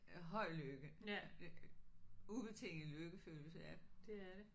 Høj lykke ubetinget lykkefølelse ja